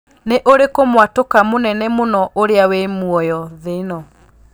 nĩ ũrikũ mũatuka mũnene mũno ũrĩa wĩ mũoyo thĩ ĩno